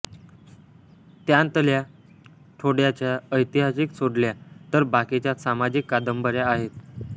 त्यांतल्या थोड्याशा ऐतिहासिक सोडल्या तर बाकीच्या सामाजिक कादंबऱ्या आहेत